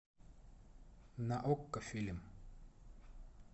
на окко фильм